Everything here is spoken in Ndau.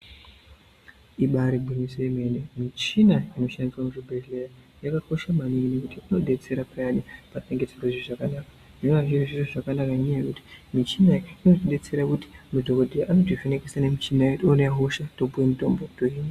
Ibari gwinyiso yemene muchina inoshandiswa muzvibhedhleya yakakosha maningi ngekuti inodetsera payani patinenge tisingazwi zvakanaka zvinova zviri zviro zvakanaka nenyaya yekuti muchina iyi Inotidetsera kuti madhokodheya anotivheneka nemuchina oti oone hosha topuwe mutombo tohinwa.